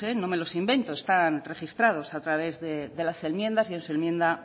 no me los invento están registrados a través de las enmiendas y en su enmienda